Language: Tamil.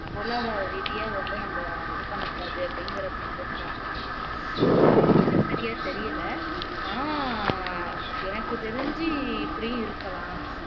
பொருளாதார ரீதியா வந்து நம்ம இது பண்ணக் கூடாது அப்படிங்கிறதுக்கு போட்டிருக்காங்கன்னு நினைக்கிறேன் சரியா தெரியலே ஆனா எனக்கு தெரிஞ்சு இப்படியும் இருக்கலாம்